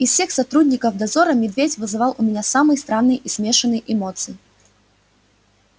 из всех сотрудников дозора медведь вызывал у меня самые странные и смешанные эмоции